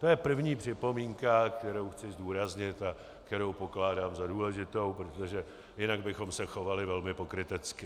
To je první připomínka, kterou chci zdůraznit a kterou pokládám za důležitou, protože jinak bychom se chovali velmi pokrytecky.